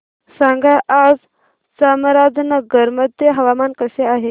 सांगा आज चामराजनगर मध्ये हवामान कसे आहे